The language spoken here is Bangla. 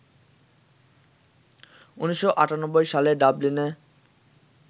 ১৯৯৮ সালে ডাবলিনে